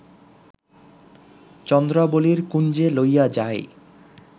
চন্দ্রাবলীর কুঞ্জে লইয়া যায়